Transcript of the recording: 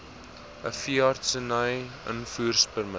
n veeartseny invoerpermit